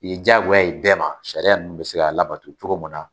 Ye jagoya ye bɛɛ ma sariya nunnu be se ka labato cogo min na.